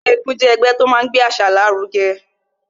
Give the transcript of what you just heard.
Ẹgbẹ́ égún jẹ́ ẹgbẹ́ tó máa ń gbé àṣà lárugẹ